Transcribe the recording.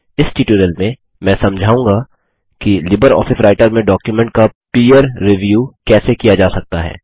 इस ट्यूटोरियल में मैं समझाऊँगा कि लिबरऑफिस राइटर में डॉक्युमेंट का पीयर रिव्यूसहकर्मी समीक्षा कैसे किया जा सकता है